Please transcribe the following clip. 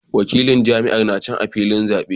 Wakilan jam'iyyar na can a filin zabe